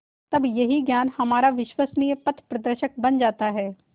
तब यही ज्ञान हमारा विश्वसनीय पथप्रदर्शक बन जाता है